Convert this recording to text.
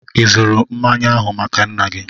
Ị zụrụ mmanya ahụ maka nnaa gị?